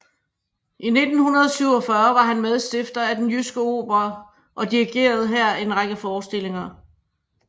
I 1947 var han medstifter af Den Jyske Opera og dirigerede her en række forestillinger